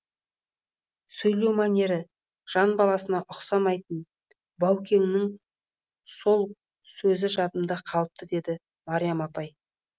сөйлеу мәнері жан баласына ұқсамайтын баукеңнің сол сөзі жадымда қалыпты деді мариям апай